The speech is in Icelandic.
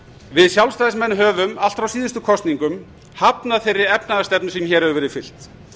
við sjálfstæðismenn höfum allt frá síðustu kosningum hafnað þeirri efnahagsstefnu sem hér hefur leið fylgt